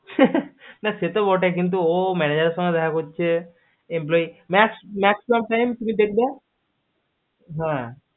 কিন্তু সে তো বটেই কিন্তু ও manager এর সাথে দেখা করছে employee কিন্তু তুমি দেখবে হা